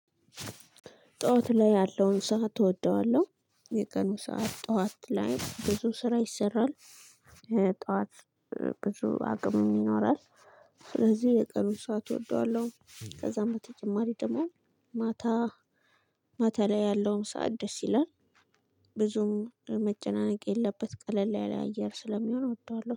ጠዋት ላይ ያለውን ሰዓት እወደዋለሁ የቀኑ ሰዓት ጠዋት ላይ ብዙ ስራ ይሰራል። ጠዋት ብዙ አቅም ይኖራል። ስለዚህ የቀኑሳት እወደዋለሁ። ከዛም በተጨማሪ ደግሞ። ማታ ማታ ላይ ያለውን ሰዓት ደስ ይላል። ብዙም መጨናነቅ የለበትም ቀለል ያለ አየር ስለሚሆን እወደዋለሁ